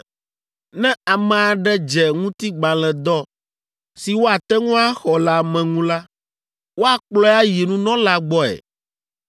“Ne ame aɖe dze ŋutigbalẽdɔ si woate ŋu axɔ le ame ŋu la, woakplɔe ayi nunɔla gbɔe.